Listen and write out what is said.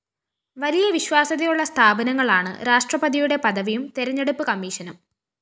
വലിയ വിശ്വാസ്യതയുള്ള സ്ഥാപനങ്ങളാണ് രാഷ്ട്രപതിയുടെ പദവിയും തെരഞ്ഞെടുപ്പ് കമ്മീഷനും